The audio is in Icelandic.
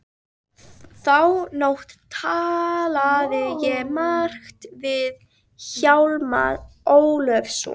Þá nótt talaði ég margt við Hjálmar Ólafsson.